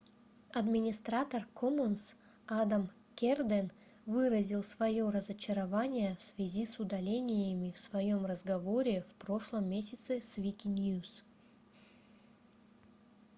администратор commons адам керден выразил своё разочарование в связи с удалениями в своем разговоре в прошлом месяце с wikinews